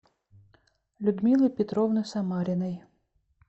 людмилы петровны самариной